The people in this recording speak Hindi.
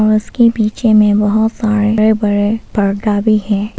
के पीछे मे बहोत सारे बड़े बड़े पर्दा भी है और--